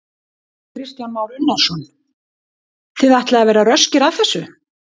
Kristján Már Unnarsson: Þið ætlið að vera röskir að þessu?